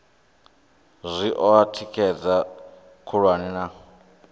zwi oa thikhedzo khulwane na